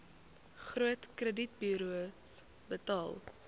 groot kredietburos betaal